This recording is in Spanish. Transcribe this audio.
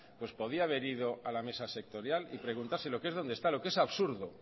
pues podía haber ido a la mesa sectorial y preguntárselo lo que es donde está es absurdo